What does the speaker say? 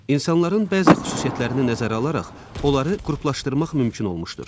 İnsanların bəzi xüsusiyyətlərini nəzərə alaraq onları qruplaşdırmaq mümkün olmuşdur.